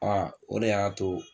A o de y'a to